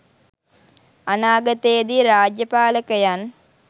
අනාගතයේදී රාජ්‍ය පාලකයන්